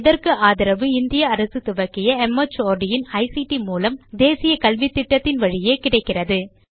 இதற்கு ஆதரவு இந்திய அரசு துவக்கிய மார்ட் இன் ஐசிடி மூலம் தேசிய கல்வித்திட்டத்தின் வழியே கிடைக்கிறது